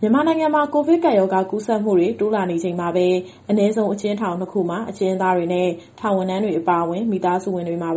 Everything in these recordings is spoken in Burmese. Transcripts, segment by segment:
မြန်မာနိုင်ငံမှာ ကိုဗစ်ကပ်ရောဂါကူးစက်မှုတွေ တိုးလာနေချိန်မှာပဲ အနည်းဆုံး အကျဉ်းထောင်၂ ခုမှာ အကျဉ်းသားတွေ၊ ထောင်ဝန်ထမ်းတွေနဲ့ မိသားစုဝင်တွေပါ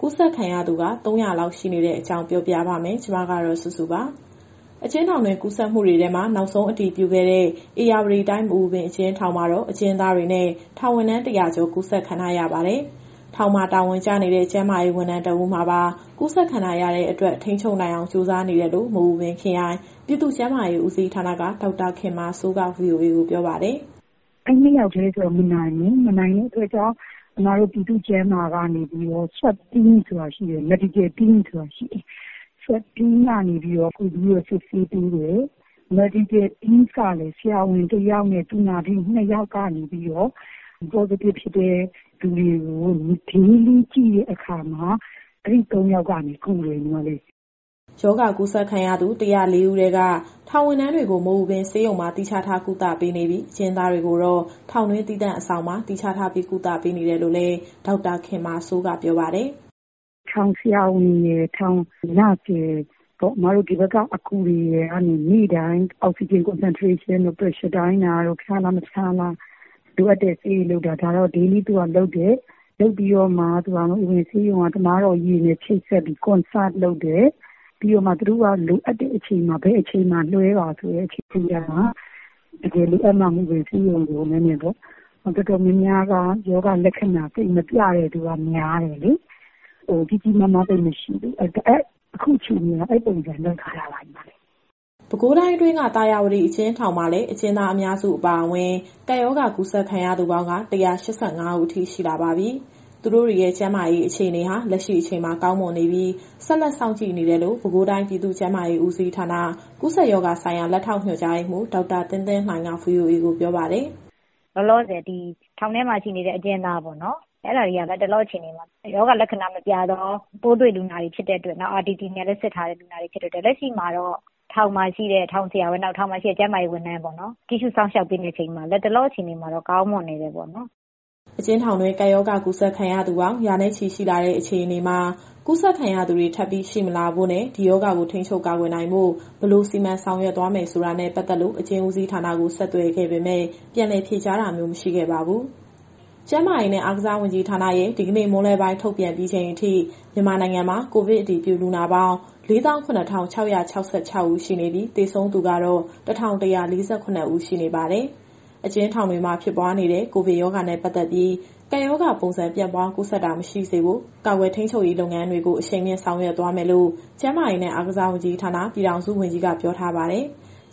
ကူးစက်ခံရသူ ၃၀၀ လောက် ရှိနေရတဲ့အကြောင်း ပြောပြပါမယ်။ ဒီသတင်းကို ဗွီအိုအေမြန်မာပိုင်း သတင်းထောက်မစုစုက တင်ဆက်ပေးမှာပါ။ အကျဉ်းထောင်တွင်း ကူးစက်မှုတွေထဲမှာ နောက်ဆုံး အတည်ပြုခဲ့တဲ့ ဧရာဝတီတိုင်း မအူပင်အကျဉ်းထောင်မှာတော့ အကျဉ်းသားတွေနဲ့ ထောင်ဝန်ထမ်း ၁၀၀ ကျော် ကူးစက်ခံထားရပါတယ်။ ထောင်မှာ တာဝန်ကျနေတဲ့ ကျန်းမာရေးဝန်ထမ်း တဦးမှာပါ ကူးစက်ခံထားရတဲ့အတွက် ထိန်းချုပ်နိုင်အောင် ကြိုးစားနေတယ်လို့ မအူပင်ခရိုင်၊ ပြည်သူ့ကျန်းမာရေးဦးစီးဌာနက ဒေါက်တာခင်မာစိုးက VOA ကိုပြောပါတယ်။ “အဲဒီ ၂ ယောက်တည်းဆိုတော့ မနိုင်ဘူး။ မနိုင်တဲ့အတွက် အစ်မတို့ ပြည်သူ့ကျန်းမာရေးကနေပြီးတော့ Swab Team နဲ့ Medical Team ဆိုတာရှိတယ်။ Swab Team ကနေပြီးတော့ ကူပြီးစစ်ဆေးပေးတယ်။ Medical Team ကလည်း ဆရာဝန် ၁ ယောက်နဲ့ သူနာပြု ၂ ယောက်ကနေပြီးတော့ Positive ဖြစ်တဲ့သူတွေကို Daily ကြည့်တဲ့အခါမှာ အဲဒီ ၃ ယောက်ကနေပြီးတော့ ကူပေးတယ်။” ရောဂါကူးစက်ခံရသူ ၁၀၄ ဦးထဲက ထောင်ဝန်ထမ်းတွေကို မအူပင်ဆေးရုံမှာ သီးခြားထားကုသပေးနေပြီး၊ အကျဉ်းသားတွေကိုတော့ ထောင်တွင်းသီးသန့် အဆောင်မှာ သီးခြားထားပြီး ကုသပေးနေတယ်လို့လည်း ဒေါက်တာခင်မာစိုးက ပြောပါတယ်။ “ထောင်ဆရာဝန်ရယ်၊ ထောင်သူနာပြုရယ်၊ အစ်မတို့ဒီဘက်က အကူတွေကနေပြီးတော့ နေ့တိုင်း Oxygen Concentration တို့၊ Pressure တိုင်းတာတို့၊ ဖျားလား မဖျားလား၊ လိုအပ်တဲ့ဆေးတွေပေးတာ ဒါကတော့နေ့တိုင်းလုပ်တယ်။ လုပ်ပြီးတော့မှ မအူပင်ဆေးရုံက သမားတော်ကြီးတွေနဲ့ ချိတ်ဆက်ပြီး Conserve လုပ်တယ်။ သူတို့က လိုအပ်တဲ့အချိန်မှာ ဘယ်အချိန်မှာ ဆေးရုံကိုလွှဲပါဆိုရင် မြန်မြန်ပေါ့။ တော်တော်များများက ရောဂါလက္ခဏာ သိပ်မပြတဲ့သူက များတယ်လေ၊ ကြီးကြီးမားမား သိပ်မရှိဘူး။ အခုအခြေအနေကတော့ အဲဒီပုံစံလုပ်ထားတာပါ။” ပဲခူးတိုင်းအတွင်းက သာယာဝတီအကျဉ်းထောင်မှာလည်း အကျဉ်းသားအများစုအပါအဝင် ကပ်ရောဂါကူးစက်ခံထားရသူပေါင်း ၁၈၅ ဦးအထိရှိလာပါပြီ။ သူတို့တွေရဲ့ကျန်းမာရေးအခြေအနေဟာ လက်ရှိအချိန်မှာ ကောင်းမွန်နေပြီး ဆက်လက်စောင့်ကြည့်နေတယ်လို့ ပဲခူးတိုင်း၊ ပြည်သူ့ကျန်းမာရေးဦးစီးဌာန၊ ကူးစက်ရောဂါဆိုင်ရာ လက်ထောက်ညွှန်ကြားရေးမှူး ဒေါက်တာသင်းသင်းလှိုင်က VOA ကိုပြောပါတယ်။ “လောလောဆယ် ဒီထောင်ထဲမှာရှိနေတဲ့ အကျဉ်းသားပေါ့နော်။ အဲဒါတွေက လတ်တလောအခြေအနေမှာ ရောဂါလက္ခဏာမပြသော ပိုးတွေ့လူနာတွေဖြစ်တဲ့အတွက် နောက် RPT (Rapid Test Kit) နဲ့လည်း စစ်ထားတဲ့လူနာတွေဖြစ်တဲ့အတွက် လက်ရှိမှာတော့ ထောင်မှာရှိတဲ့ ထောင်ဆရာဝန်၊ ကျန်းမာရေးဝန်ထမ်းတွေ ကြည့်ရှုစောင့်ရှောက်ပေးနေချိန်မှာ လတ်တလောအခြေအနေမှာတော့ ကောင်းမွန်နေတယ်ပေါ့နော်။” အကျဉ်းထောင်တွင်း ကပ်ရောဂါကူးစက်ခံရသူပေါင်း ရာနဲ့ချီ ရှိလာတဲ့အခြေအနေမှာ ကူးစက်ခံရသူတွေ ထပ်ပြီးရှိမလာဖို့နဲ့၊ ဒီရောဂါကိုထိန်းချုပ် ကာကွယ်နိုင်ဖို့ ဘယ်လိုစီမံဆောင်ရွက်သွားမယ်ဆိုတာနဲ့ ပတ်သက်လို့ အကျဉ်းဦးစီးဌာနကို ဆက်သွယ်ခဲ့ပေမဲ့ ပြန်လည်ဖြေကြားတာမျိုး မရှိခဲ့ပါဘူး။ ကျန်းမာရေးနဲ့ အားကစားဝန်ကြီးဌာနရဲ့ ဒီကနေ့မွန်းလွဲပိုင်း ထုတ်ပြန်ပြီးချိန်အထိ မြန်မာနိုင်ငံမှာ ကိုဗစ်အတည်ပြုလူနာပေါင်း ၄၇,၆၆၆ ဦးရှိနေပြီး သေဆုံးသူကတော့ ၁,၁၄၇ ဦးရှိနေပါတယ်။ အကျဉ်းထောင်တွေမှာ ဖြစ်ပွားနေတဲ့ ကိုဗစ်ရောဂါနဲ့ ပတ်သက်ပြီး ကပ်ရောဂါပုံစံ ပြန့်ပွားကူးစက်တာ မရှိစေဖို့ ကာကွယ်ထိန်းချုပ်ရေးလုပ်ငန်းတွေကို အရှိန်မြှင့်ဆောင်ရွက်သွားရမယ်လို့ ကျန်းမာရေးနဲ့အားကစားဝန်ကြီးဌာန၊ ပြည်ထောင်စုဝန်ကြီးက ပြောထားပါတယ်။